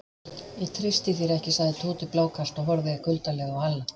Ég treysti þér ekki sagði Tóti blákalt og horfði kuldalega á Halla.